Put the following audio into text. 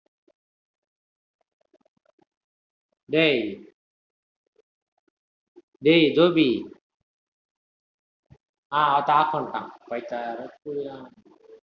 டேய் டேய் கோபி ஆஹ் off பண்ணிட்டான்